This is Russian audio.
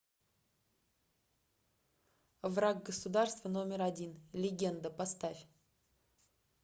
враг государства номер один легенда поставь